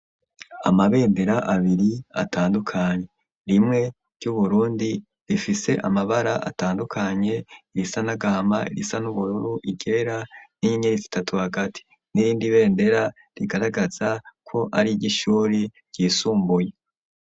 Amabendera abiri atandukanye rimwe ry'Uburundi rifise amabara atandukanye irisa n'agama irisa n'ubururu ,iryera n'inyenyeri zitatu hagati n'irindi bendera rigaragaza ko ari iry'ishure ryisumbuye.